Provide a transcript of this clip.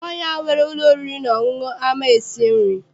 Nwaanyi ahụ nwere ụlọ oriri na ọṅụṅụ ama esi nri?